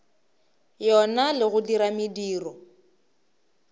yona le go dira mediro